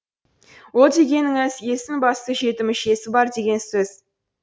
ол дегеніңіз естің басты жеті мүшесі бар деген сөз